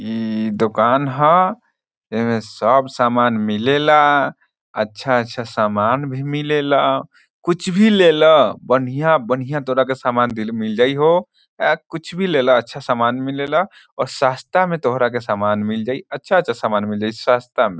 ई दुकान ह एमे सब सामान मिलेला अच्छा-अच्छा सामान भी मिलेला कुछ भी ले ला बन्हिया-बन्हिया तोरा के सामान मिल जाई हो कुछ भी ले ला अच्छा-अच्छा सामान मिलेला और सस्ता में तोहरा के सामान मिल जाइ अच्छा-अच्छा समान मिल जाई सस्ता में ।